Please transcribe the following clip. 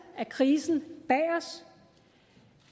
af krisen bag os